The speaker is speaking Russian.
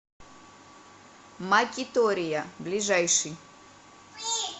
макитория ближайший